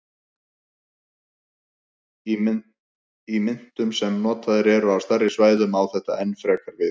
Í myntum sem notaðar eru á stærri svæðum á þetta enn frekar við.